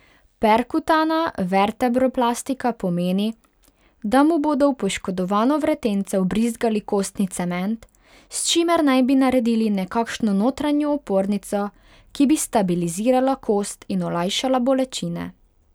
Perkutana vertebroplastika pomeni, da mu bodo v poškodovano vretence vbrizgali kostni cement, s čimer naj bi naredili nekakšno notranjo opornico, ki bi stabilizirala kost in olajšala bolečine.